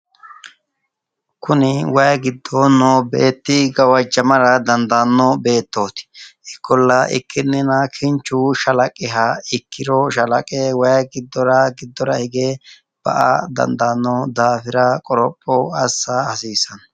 Kuni wayi giddo noo beetti gawajjama dandaano beettooti. Ikkolla ikkinnina kinchu shalaqiha ikkiro shalaqe wayi giddora hige ba"a dandaano daafira qoropho assa hasiissanno.